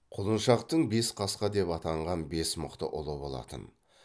құлшыншақтың бес қасқа деп атанған бес мықты ұлы болатын